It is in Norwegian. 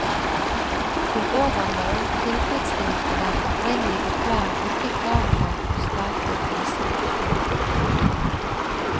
Til overmål tilfredsstilte den opprinnelige plan ikke kravene for statlig tilskudd.